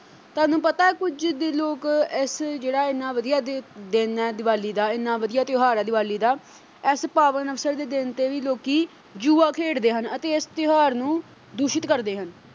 ਤੁਹਾਨੂੰ ਪਤਾ ਕੁਝ ਜਿੱਦੀ ਲੋਕ ਐਸੇ ਜਿਹੜਾ ਐਨਾਂ ਵਧੀਆ ਦ ਅਹ ਦਿਨ ਐ ਦੀਵਾਲੀ ਦਾ ਐਨਾਂ ਵਧੀਆ ਤਿਓਹਾਰ ਐ ਦੀਵਾਲੀ ਦਾ ਐਸੇ ਪਾਵਣ ਅਵਸਰ ਦੇ ਦਿਨ ਤੇ ਵੀ ਲੋਕੀ ਜੂਆ ਖੇਡਦੇ ਹਨ ਅਤੇ ਇਸ ਤਿਓਹਾਰ ਨੂੰ ਦੂਸ਼ਿਤ ਕਰਦੇ ਹਨ।